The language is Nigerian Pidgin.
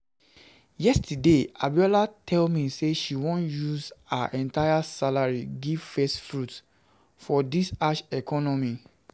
Yesterday Abiola tell me say she wan use her entire salary give first fruit, for dis harsh economy